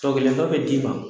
Tɔ kelen dɔ bɛ d'i ma.